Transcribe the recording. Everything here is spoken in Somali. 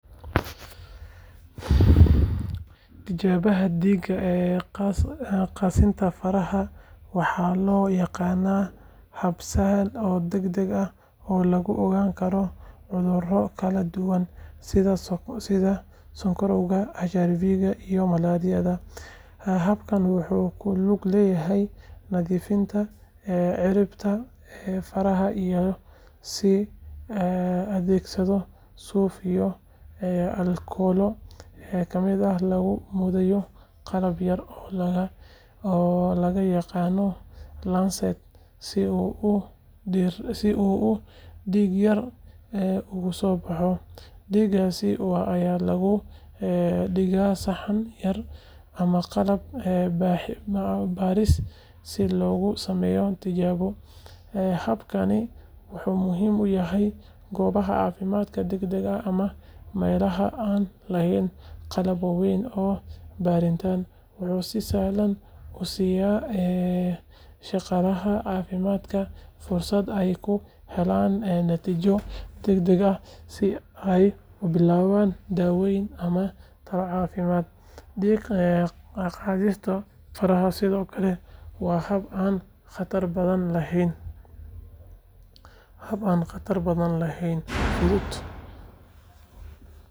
Tijaabada dhiig qaadista faraha waxaa loo yaqaanaa hab sahlan oo degdeg ah oo lagu ogaan karo cuduro kala duwan sida sonkorowga, HIV, iyo malaariyada. Habkan wuxuu ku lug leeyahay nadiifinta ciribta faraha iyadoo la adeegsanayo suuf iyo aalkolo kadibna lagu mudayo qalab yar oo loo yaqaan lancet si uu dhiig yar uga soo baxo. Dhiiggaas yar ayaa lagu dhigaa saxan yar ama qalab baaris si loogu sameeyo tijaabo. Habkani wuxuu muhiim u yahay goobaha caafimaadka degdegga ah ama meelaha aan lahayn qalab waaweyn oo baadhitaan. Wuxuu si sahlan u siinayaa shaqaalaha caafimaadka fursad ay ku helaan natiijo degdeg ah si ay u bilaabaan daaweyn ama talo caafimaad. Dhiig qaadista faraha sidoo kale waa hab aan khatar badan lahayn, fudud.